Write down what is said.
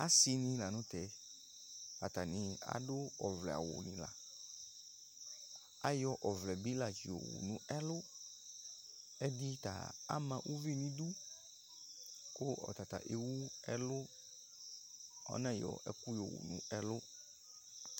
asinɩ lanʊtɛ, atanɩ adʊ ɔvlɛ awunɩ la, ayɔ bɩ la tsi yɔ wu nʊ ɛlʊ, ɛdɩta ama uvi n'idu, kʊ ɔta ta ewu ɛlʊ, ɔna yɔ ɛkʊ yɔwu n'ɛlʊ